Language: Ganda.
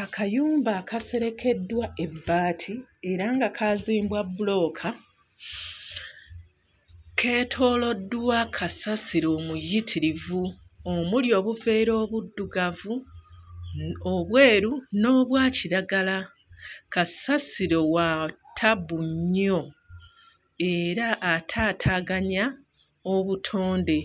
Akayumba akaserekeddwa ebbaati era nga kaazimbwa bbulooka, keetooloddwa kasasiro omuyitirivu omuli obuveera obuddugavu, obweru n'obwa kiragala. Kasasiro wa ttabbu nnyo era ataataaganya obutonde.